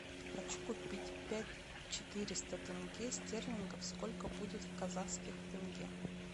хочу купить пять четыреста тенге стерлингов сколько будет в казахских тенге